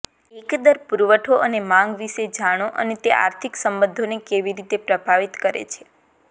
એકંદર પુરવઠો અને માંગ વિશે જાણો અને તે આર્થિક સંબંધોને કેવી રીતે પ્રભાવિત કરે છે